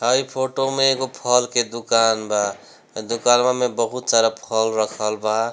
हई फोटो में एगो फल के दुकान बा ए दुकानवा में बहुत सारा फल रखल बा।